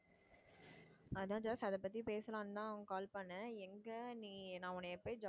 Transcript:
அதான் ஜாஸ் அதப்பத்தி பேசலான்னு தான் உனக்கு call பண்ணேன் எங்க நீ நான் உன்னை